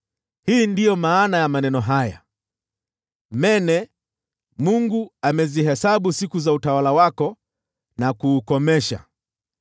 “Hii ndiyo maana ya maneno haya: “ Mene : Mungu amezihesabu siku za utawala wako na kuukomesha.